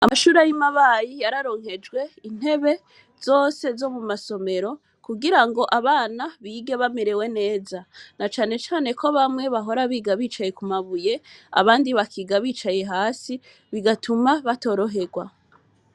Amashure y'i Mabayi, yararonkejwe intebe zose zo mu masomero, kugira ngo abana bige bamerewe neza; na cane cane ko bamwe bahora biga bicaye ku mabuye, abandi bakiga bicaye hasi, bigatuma batoroherwa.